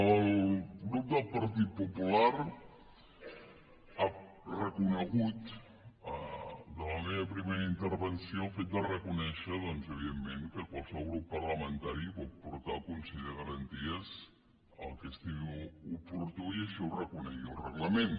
el grup del partit popular ha reconegut de la meva primera intervenció el fet de reconèixer doncs evidentment que qualsevol grup parlamentari pot portar al consell de garanties el que estimi oportú i així ho reconegui el reglament